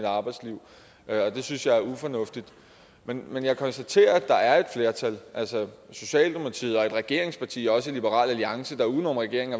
arbejdsliv det synes jeg er ufornuftigt men men jeg konstaterer at der er et flertal socialdemokratiet og et regeringsparti og også liberal alliance der uden om regeringen